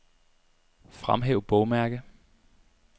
Fremhæv bogmærke.